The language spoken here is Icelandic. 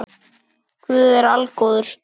Guð er algóður